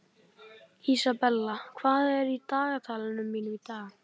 Isabella, hvað er á dagatalinu mínu í dag?